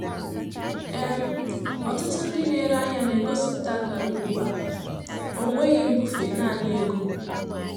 um Ọtụtụ ndị na-ere ahịa na-egosipụta akara ugbu a: "Ọnweghị mbufe, naanị ego."